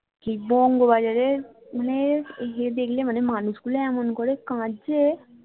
বঙ্গ বাজারের মানে ইয়ে দেখলে মানে মানুষ গুলো এমন করে কাঁদছে